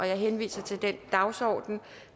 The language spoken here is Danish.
jeg henviser til den dagsorden